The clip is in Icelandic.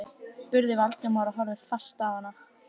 spurði Valdimar og horfði fast á hana.